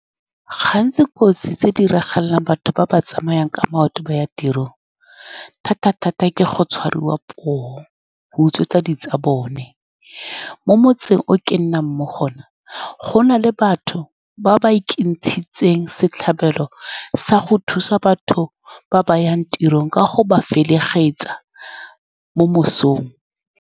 Gantsi dikotsi tse di diragalelang batho ba ba tsamayang ka maoto ba ya tirong, thata-thata, ke go tshwarwa, poo, ba utswetsa di tsa bone. Mo motseng o ke nnang mo go one, gona le batho ba ba ikentshitseng setlhabelo sa go thusa batho ba ba yang tirong ka go ba felegefetsa mo mosong.